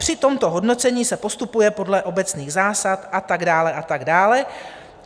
Při tomto hodnocení se postupuje podle obecných zásad" a tak dále a tak dále.